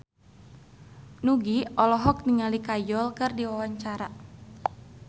Nugie olohok ningali Kajol keur diwawancara